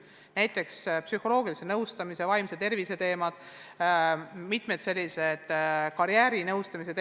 Näiteks võib tuua psühholoogilise ja karjäärinõustamise, samuti vaimse tervise probleemide lahendamise.